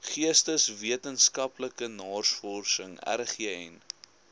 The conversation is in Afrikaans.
geesteswetenskaplike navorsing rgn